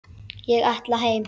Ég ætla heim!